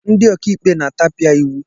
Ndị ọkàikpe na-atapia iwu.